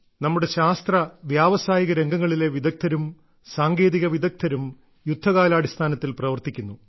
നമ്മുടെ ശാസ്ത്ര വ്യാവസായിക രംഗങ്ങളിലെ വിദഗ്ധരും സാങ്കേതിക വിദഗ്ധരും യുദ്ധകാലാടിസ്ഥാനത്തിൽ പ്രവർത്തിക്കുന്നു